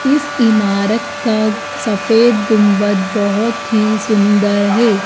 इस इमारत का सफेद गुंबद बहोत ही सुंदर है।